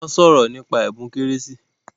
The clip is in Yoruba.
Wọ́n sọ̀rò nípa ẹbùn kérésì